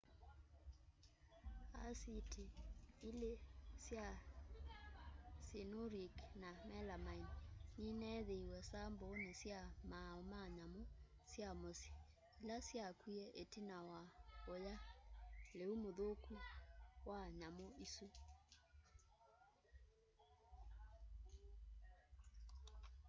asiti ili sya cyanuric na melamaini nineethiiwe sambooni sya maumau ma nyamu sya musyi ila syakwie itina wa uya liu muthuku wa nyamu isu